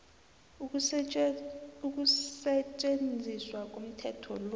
ukusetjenziswa komthetho lo